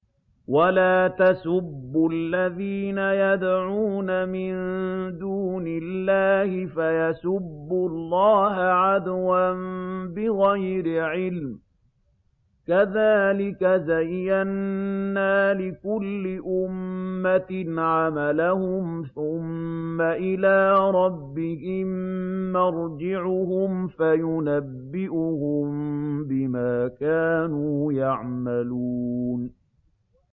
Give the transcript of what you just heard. وَلَا تَسُبُّوا الَّذِينَ يَدْعُونَ مِن دُونِ اللَّهِ فَيَسُبُّوا اللَّهَ عَدْوًا بِغَيْرِ عِلْمٍ ۗ كَذَٰلِكَ زَيَّنَّا لِكُلِّ أُمَّةٍ عَمَلَهُمْ ثُمَّ إِلَىٰ رَبِّهِم مَّرْجِعُهُمْ فَيُنَبِّئُهُم بِمَا كَانُوا يَعْمَلُونَ